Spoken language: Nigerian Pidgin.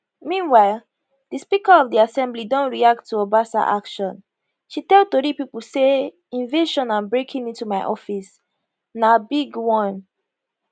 meanwhile di speaker of di assembly don react to obasa action she tell tori pipo say invasion and breaking into my office na big one